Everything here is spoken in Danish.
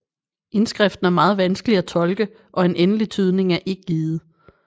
Indskriften er meget vanskelig at tolke og en endelig tydning er ikke givet